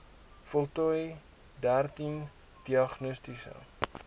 voltooi dertien diagnostiese